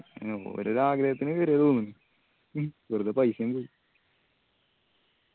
ഓരൊരൊ ആഗ്രഹത്തിന് കേറിയതാ തോന്നുന്ന് മ് വെറുതെ paisa യും പോയി.